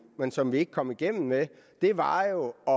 men som vi ikke kom igennem med var jo at